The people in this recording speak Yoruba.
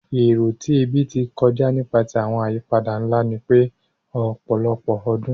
Ero ti ẹbi ti kọja nipasẹ awọn ayipada nla ni pẹ ọpọlọpọ ọdun